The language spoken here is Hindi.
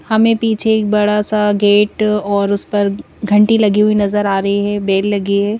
हमें पीछे एक बड़ा सा गेट और उस पर घंटी लगी हुई नजर आ रही है बेल लगी।